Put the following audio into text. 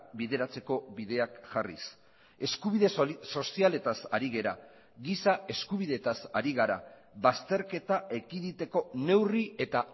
bideratzeko bideak jarriz eskubide sozialetaz ari gara giza eskubideetaz ari gara bazterketa ekiditeko neurri eta